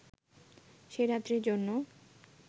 সে রাত্রির জন্য